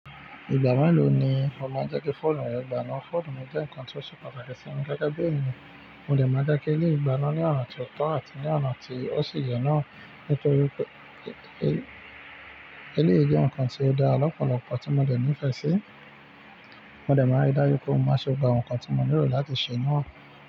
Ìgbà mélòó ni o máa ń jẹ́ kí fóònù rẹ gbaná? Fóònù jẹ́ nǹkan tó ṣe pàtàkì sí mi gege bí ènìyàn. Mo dè máa dake ní igbaná ní ọ̀nà tió tọ́ àti ní ọ̀nà tí ó sì yẹ́ náà nítorí pé eléyìí jẹ́ nǹkan tí ó dára lọ́pọ̀lọpọ̀ tí mo dẹ̀ nífẹ̀ẹ́ sí. Mo dẹ̀ máa rí dájú pé mo má ṣe gbogbo awon nǹkan tí mo nílò láti ṣe náà.